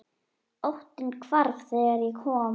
Óttinn hvarf þegar ég kom.